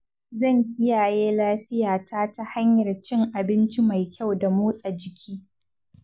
Zan kiyaye lafiyata ta hanyar cin abinci mai kyau da motsa jiki.